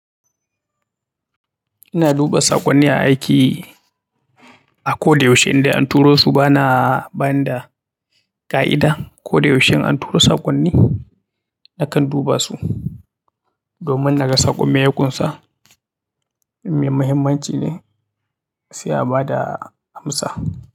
Ina duba saƙonni a aiki, a ko da yaushe inda an turo su bana ba ni da ƙa'ida. Ko da yaushe in an tura saƙonni nakan duba su domin naga saƙon me ya ƙunsa, in me muhimmanci ne sai a ba da amsa.